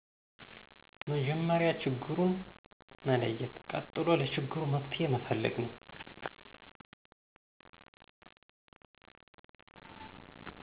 መጀመሪያ ችግሩን መለየት ቀጥሎ ለችግሩ መፍትሄ መፈለግ ነው።